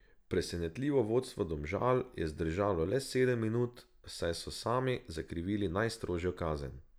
Presenetljivo vodstvo Domžal je zdržalo le sedem minut, saj so sami zakrivili najstrožjo kazen.